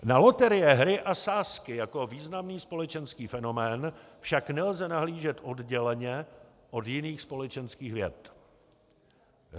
Na loterie, hry a sázky jako významný společenský fenomén však nelze nahlížet odděleně od jiných společenských věd.